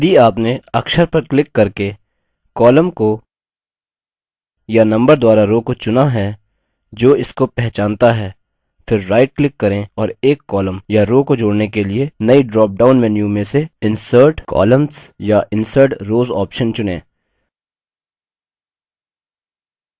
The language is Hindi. यदि आपने अक्षर पर click करके column को या number द्वारा row को चुना है जो इसको पहचानता है फिर right click करें और एक column या row को जोड़ने के लिए नई ड्रॉपडाउन menu में से insert columns या insert rows option चुनें